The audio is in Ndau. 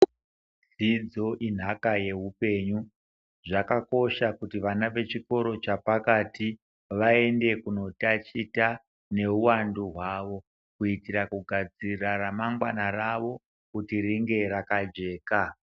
Dzidzo inhaka yeupenyu zvakakosha kuti vana vechikoro chepakati vaende kunotaticha nehuwandu hwavo kuitira kugadzirira ramangwana rawo kuti ringe rakajeka.